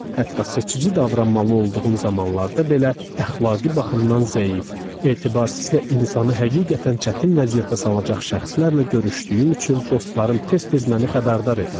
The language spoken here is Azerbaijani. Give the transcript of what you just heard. Hətta seçici davranmalı olduğum zamanlarda belə, əxlaqi baxımdan zəif, etibarsız və insanı həqiqətən çətin vəziyyətə salacaq şəxslərlə görüşdüyüm üçün dostlarım tez-tez məni xəbərdar edərdi.